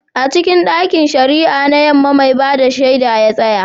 A cikin ɗakin shari'ar Yamma, mai ba da shaida ya tsaya.